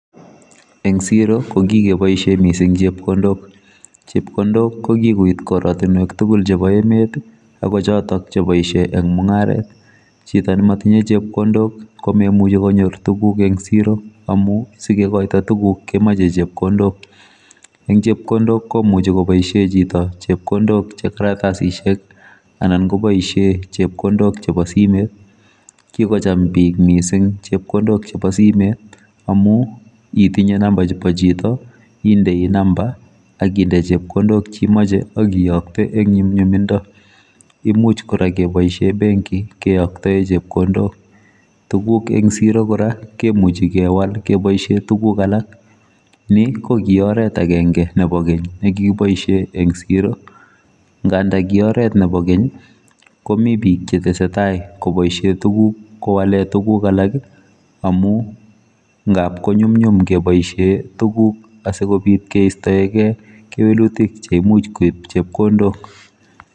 Eng siro kokikeboisie mising chepkondok. Chepkondok kokikoit koratunwek tugul chebo emet akochotok cheboisie eng mungaret chito nematiye chepkondok komemuchi konyor tuguk eng siro amu sikekoito tuguk kemoche chepkondok eng chepkondok komuchi koboisie chito chepkondok chekaratasisiek anan koboisie chepkondok chebo simet kikocham bik mising chepkondok chebo simet amu itinye number chebo chito indoi number akinde chepkondok cheimoche akiyokte eng nyumnyumindo imuch kora keboisie benki keyoktae chepkondok tuguk eng siro kora kemuchi kewal keboisie tuguk alak ni kokioret akenge nebo kenye nekikiboisie eng siro ngandakioret nebo keny komi bik chetesetai koboisie tuguk kowale tugukalak amu ngapkonyumnyum keboisie tuguk asikobit keistoe gei kewelutik chimuch koib chepkondok.